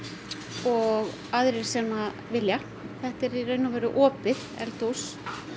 og aðrir sem vilja þetta er í raun og veru opið eldhús